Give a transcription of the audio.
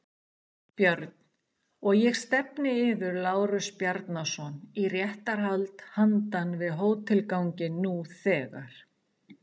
BJÖRN: Og ég stefni yður, Lárus Bjarnason, í réttarhald handan við hótelganginn nú þegar!